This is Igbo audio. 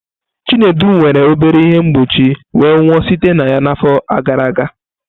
Chinedu nwere obere ihe mgbochi wee nwụọ site na ya n'afọ gara aga.